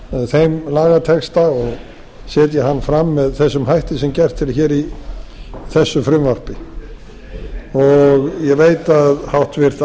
þeim lagatexta og setja hann fram með þessum hætti sem gert er hér í þessu frumvarpi ég veit að háttvirta